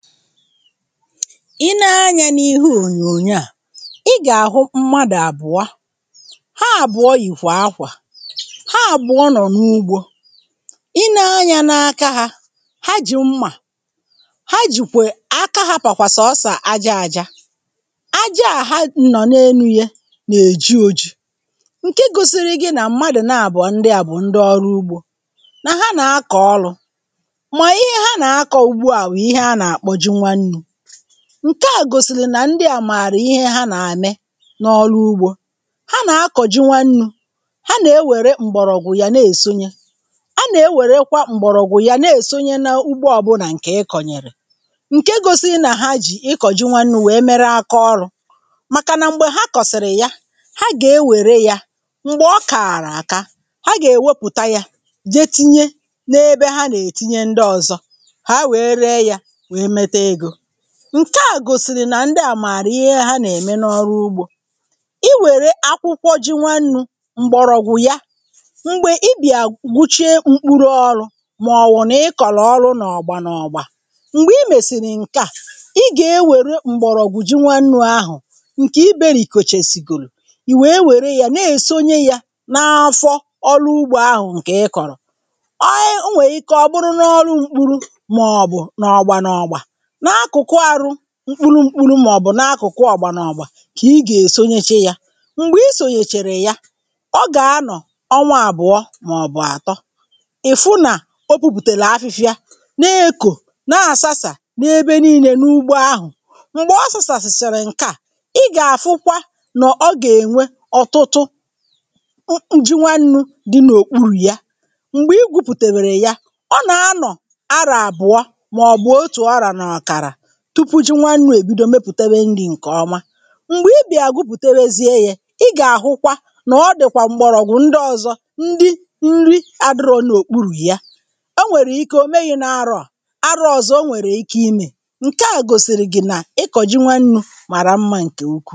Ị nee anyȧ n’ihe ònyònyo à i gà-àhụ mmadụ̀ àbụ̀ọ. Ha àbụ̀ọ yìkwà ákwà, ha àbụ̀ọ nọ̀ n’ugbȯ i nee anyȧ n’aka hȧ, ha jì mmà, ha jìkwè(um) aka ha pàkwa sọ̀o osọ̀ aja aja, aja à ha nọ̀ na-enu̇ ya nà-èji oji̇ ǹke gosiri gị nà mmadụ̀ na-àbọ̀ ndị à bụ ndị ọrụ ugbȯ, nà ha nà-akọ̀ ọrụ̇, ma ihe ha na-akọ ugbua bụ ihe a na-akpọ ji nwannu, ǹke à gòsìrì nà ndị à màrì ihe ha nà-eme n’ọrụ ugbȯ, ha nà-akọ̀ ji nwannu̇, ha na-ewère m̀gbọ̀rọ̀gwụ̀ yà na-èsonye,a na-ewèrekwa m̀gbọ̀rọ̀gwụ̀ yà na-èsonye na ugbo ọbụnà ǹkè ị kọ̀nyèrè, ǹke gosiri nà ha jì ịkọ̀ ji nwannu̇ wèe mere aka ọrụ̇ màkà nà m̀gbè ha kọ̀sị̀rị̀ ya, ha gà-ewère yȧ m̀gbè ọ kààrà àka ha gà-èwepụ̀ta yȧ je tinye n’ebe ha nà-ètinye ndị ọzọ ka ha wee ree ya, wee nweta ego, ǹke à gòsìrì nà ndị à màrà ihe hà nà-ème n’ọrụ ugbȯ, i wère akwụkwọ ji nwannu̇, m̀gbọ̀rọ̀gwụ̀ ya mgbe ị bịà gbuchee mkpuru ọrụ̇ màọwụ̀ nà ị kọ̀rọ̀ ọrụ n’ọ̀gbȧ n’ọ̀gbȧ m̀gbè i mèsìrì ǹke à, ị gà-ewere m̀gbọ̀rọ̀gwụ̀ ji nwannu̇ ahụ̀ ǹkè iberiìkocha èsìgòlù, ì wèe wère ya na-èsonye yȧ n’afọ ọrụ ugbȯ ahụ̀ ǹkè ị kọ̀rọ̀, o um e nwè ike ọ bụrụ n’ọrụ mkpuru màọbụ̀ n’ọgbȧ n’ọ̀gbà, n'akụkụ ahụ mkpụrụ mkpụrụ màọbụ̀ n’akụ̀kụ ọ̀gbà nà ọ̀gbà kà ị gà-èsonyeche yȧ, m̀gbè i sòghèchèrè ya, ọ gà-anọ̀ ọnwa àbụ̀ọ màọbụ̀ àtọ ị̀ fụ nà o pupùtèlè afịfịa na-ekò nà-àsasà n’ebe niile n’ugbo ahụ̀, m̀gbè ọ sȯsàsàrȧ ǹkè à, ị gà-àfụkwa nọ̀ ọ gà-ènwe ọ̀tụtụ (um)ji nwannu̇ dị n’òkpuru ya m̀gbè i gwupùtèbèrè ya, ọ nà-anọ̀ arọ àbụ̀ọ a otu arọ na ọkara, tupu ji nwannu̇ èbido mepùtebe nri̇ ǹkè ọma, m̀gbè ibìa gụpùtebe zie eyė ị gà-àhụkwa nà ọ dị̀kwà m̀gbọrọ̀gwụ̀ ndị ọ̇zọ̇ ndị nri adịrọ n’òkpurù ya, o nwèrè ike o meghi̇ na-aro a arọ̇ ọ̀zọ o nwèrè ike imė, ǹke à gòsìrì gị̀ n’ịkọ̀ ji nwannu̇ màrà mmȧ ǹkè ukwuù.